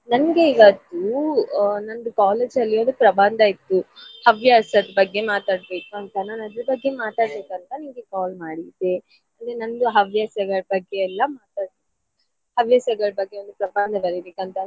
ನನ್ಗೆ ಇವತ್ತು ಆ ನಂದು college ಅಲ್ಲಿ ಒಂದ್ ಪ್ರಬಂಧ ಇತ್ತು ಹವ್ಯಾಸದ್ ಬಗ್ಗೆ ಮಾತಾಡ್ಬೇಕಂತ ನಾನ್ ಅದ್ರ ಬಗ್ಗೆ ಮಾತಾಡ್ಬೇಕಂತ ನಿಮ್ಗೆ call ಮಾಡಿದ್ದೆ. ಅಂದ್ರೆ ನಂದು ಹವ್ಯಾಸಗಳ್ ಬಗ್ಗೆ ಎಲ್ಲ ಮಾತಾಡ್~ ಹವ್ಯಾಸಗಳ್ ಬಗ್ಗೆ ಒಂದ್ ಪ್ರಬಂಧ ಬರಿಬೇಕಂತ.